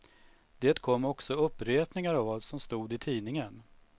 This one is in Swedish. Det kom också upprepningar av vad som stod i tidningen.